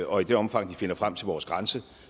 og i det omfang de finder frem til vores grænse